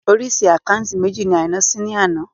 Orísìí àkáúntì méjì ni Àìná ṣí ní àná